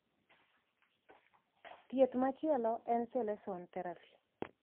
Thieth machielo en chelation therapy.